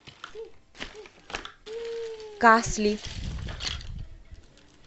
касли